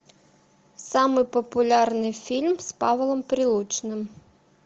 самый популярный фильм с павлом прилучным